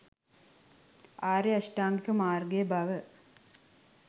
ආර්ය අෂ්ටාංගික මාර්ගය බව